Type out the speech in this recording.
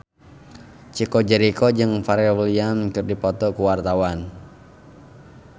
Chico Jericho jeung Pharrell Williams keur dipoto ku wartawan